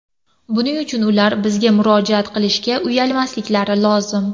Buning uchun ular bizga murojaat qilishga uyalmasliklari lozim.